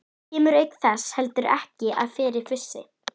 Kemst auk þess heldur ekki að fyrir fussi